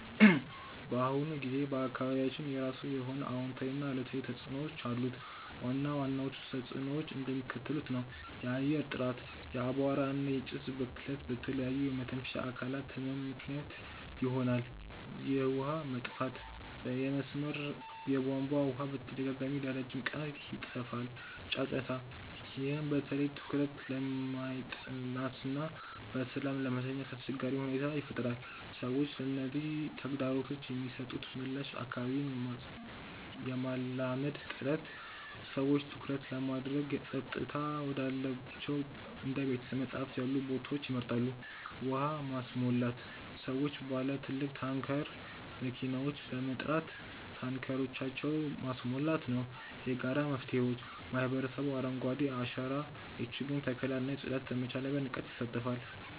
በአሁኑ ጊዜ በአካባቢያችን የራሱ የሆነ አዎንታዊና አሉታዊ ተጽዕኖዎች አሉት። ዋና ዋናዎቹ ተጽዕኖዎች እንደሚከተለው ነው፦ የአየር ጥራት፦ የአቧራ እና የጭስ ብክለት ለተለያዩ የመተንፈሻ አካላት ህመም ምክንያት ይሆናል። የውሃ መጥፋት፦ የመስመር የቧንቧ ውሃ በተደጋጋሚና ለረጅም ቀናት ይጠፋል። ጫጫታ፦ ይህ በተለይ በትኩረት ለማጥናትና በሰላም ለመተኛት አስቸጋሪ ሁኔታን ይፈጥራል። ሰዎች ለነዚህ ተግዳሮቶች የሚሰጡት ምላሽ አካባቢን የማላመድ ጥረት፦ ሰዎች ትኩረት ለማድረግ ጸጥታ ወዳላቸው እንደ ቤተ-መጻሕፍት ያሉ ቦታዎችን ይመርጣሉ። ውሃ ማስሞላት፦ ሰዎች ባለ ትልቅ ታንከር መኪናዎችን በመጥራት ታንከሮቻቸውን ማስሞላት ነው። የጋራ መፍትሄዎች፦ ማህበረሰቡ የአረንጓዴ አሻራ የችግኝ ተከላ እና የጽዳት ዘመቻዎች ላይ በንቃት ይሳተፋል።